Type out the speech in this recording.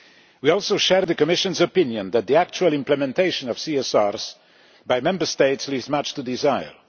We also share the Commission's opinion that the actual implementation of CSRs by Member States leaves much to be desired.